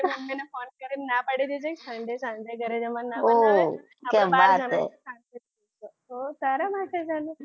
તારે મમ્મીને ફોન કરીને ના પાડી દેજે કે સાંજે ઘરે જમવાનું ના પાડી દેજે આપણે બહાર જમીને આવીશું શાંતિથી ઓ તારા માટે